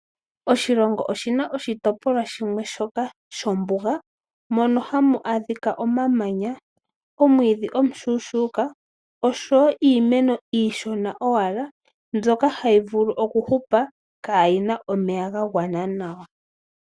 Oshilongo oshi na oshitopolwa shimwe shoka shombuga mono hamu adhika omamanya, omwiidhi omushuushuuka oshowo iimeno iishona owala mbyoka hayi vulu okuhupa kaa yi na omeya ga gwana nawa.